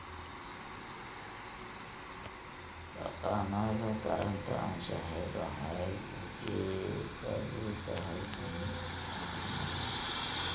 Dhaqannada taranta anshaxeed waxay ujeedadoodu tahay in la horumariyo.